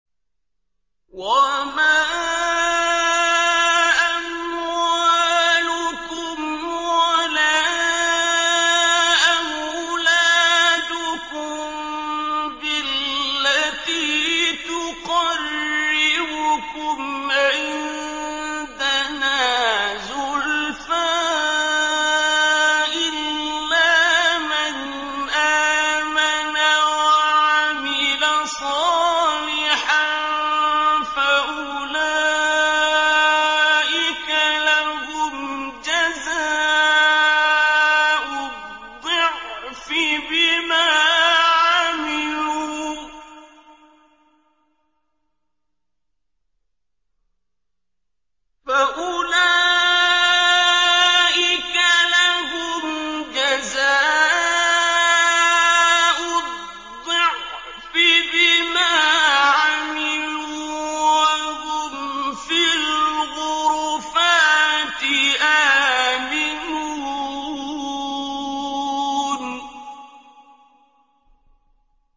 وَمَا أَمْوَالُكُمْ وَلَا أَوْلَادُكُم بِالَّتِي تُقَرِّبُكُمْ عِندَنَا زُلْفَىٰ إِلَّا مَنْ آمَنَ وَعَمِلَ صَالِحًا فَأُولَٰئِكَ لَهُمْ جَزَاءُ الضِّعْفِ بِمَا عَمِلُوا وَهُمْ فِي الْغُرُفَاتِ آمِنُونَ